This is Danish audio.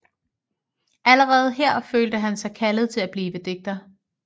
Allerede her følte han sig kaldet til at blive digter